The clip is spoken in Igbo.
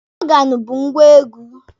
Ọgaanụ bụ ngwá egwu.